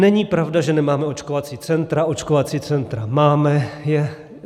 Není pravda, že nemáme očkovací centra, očkovací centra máme.